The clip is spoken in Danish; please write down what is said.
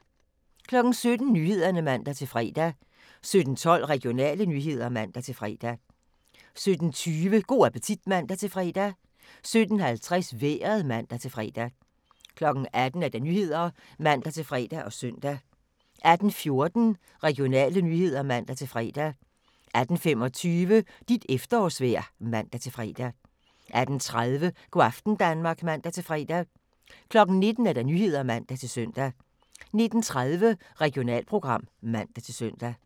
17:00: Nyhederne (man-fre) 17:12: Regionale nyheder (man-fre) 17:20: Go' appetit (man-fre) 17:50: Vejret (man-fre) 18:00: Nyhederne (man-fre og søn) 18:14: Regionale nyheder (man-fre) 18:25: Dit efterårsvejr (man-fre) 18:30: Go' aften Danmark (man-fre) 19:00: Nyhederne (man-søn) 19:30: Regionalprogram (man-søn)